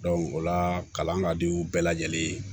o la kalan ka di u bɛɛ lajɛlen ye